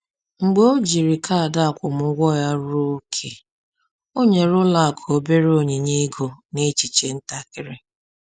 Mgbe o jiri kaadị akwụmụgwọ ya ruo ókè, o nyere ụlọ akụ obere onyinye ego n’echiche ntakịrị